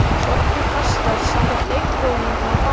Sjóddu pastað samkvæmt leiðbeiningum á pakka.